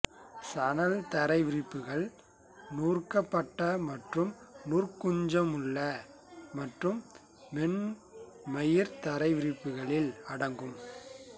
சணல் தரை விரிப்புகள் நூற்கப்பட்ட மற்றும் நூற்குஞ்சமுள்ள மற்றும் மென்மயிர் தரைவிரிப்புக்களில் அடங்கும்